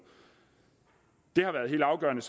det har været helt afgørende